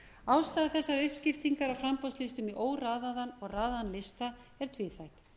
ástæða þessar uppskiptingar á framboðslistum í óraðaðan og raðaðan lista er tvíþætt